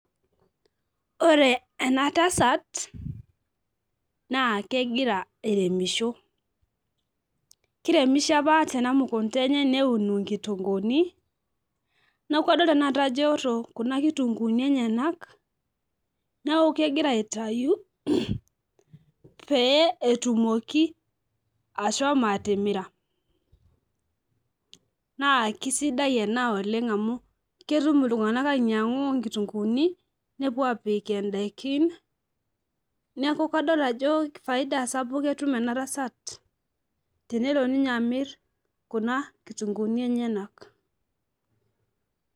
Ore enatasat naa kegira airemisho , kiremisho apa tenamukunta enye neun nkitukuni niaku adol tenakata ajo eoto kuna kitunkuni enyenak , niaku kegira aitayu pee etumoki ashomo atimira naa kisidai ena oleng amu ketum iltunganak ainyiangu nkitunkuni nepuo apik indaikin neeku kadol ajo faida sapuk etum enatasat tenelo ninye amir kuna kitunkuni enyenak.